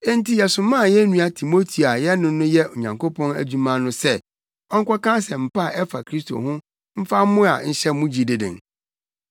Enti yɛsomaa yɛn nua Timoteo a yɛne no yɛ Onyankopɔn adwuma no sɛ ɔnkɔka Asɛmpa a ɛfa Kristo ho mfa mmoa nhyɛ mo gyidi den,